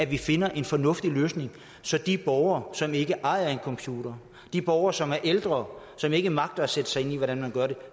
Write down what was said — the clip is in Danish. vi finder en fornuftig løsning så de borgere som ikke ejer en computer de borgere som er ældre som ikke magter at sætte sig ind i hvordan man gør det